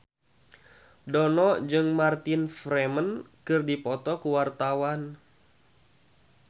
Dono jeung Martin Freeman keur dipoto ku wartawan